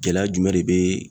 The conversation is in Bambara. Gɛlɛya jumɛn de bɛ